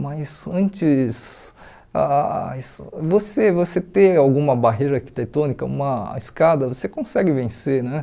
Mas antes, ah você você ter alguma barreira arquitetônica, uma escada, você consegue vencer, né?